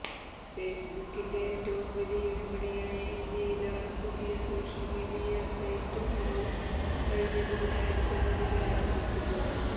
ഫേസ്ബുക്കിന്റെ ഏറ്റവും വലിയ വിപണിയായ ഇന്ത്യയിലാണ് പുതിയ സോഷ്യല് മീഡിയ സൈറ്റ് ഹാലോ കഴിഞ്ഞ ബുധനാഴ്ച മുതല് ആരംഭിച്ചത്